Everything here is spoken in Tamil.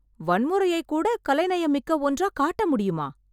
வன்முறையை கூட கலை நயம் மிக்க ஒன்றா காட்ட முடியுமா